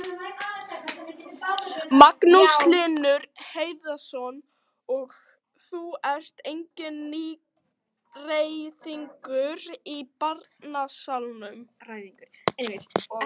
Magnús Hlynur Hreiðarsson: Og þú ert enginn nýgræðingur í bransanum?